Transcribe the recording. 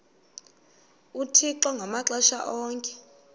uthixo ngamaxesha onke